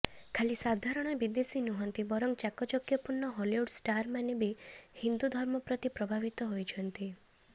ଖାଲି ସାଧାରଣ ବିଦେଶୀ ନୁହଁନ୍ତି ବରଂ ଚାକଚକ୍ୟପୂର୍ଣ୍ଣ ହଲିଉଡ୍ର ଷ୍ଟାରମାନେ ବି ହିନ୍ଦୁ ଧର୍ମ ପ୍ରତି ପ୍ରଭାବିତ ହୋଇଛନ୍ତି